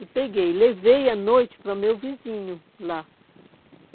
E peguei, levei à noite para o meu vizinho lá.